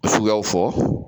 Suguyaw fɔ